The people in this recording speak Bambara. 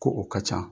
Ko o ka ca